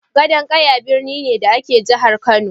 Gadon Ƙaya birni ne, da ke a Jihar Kano.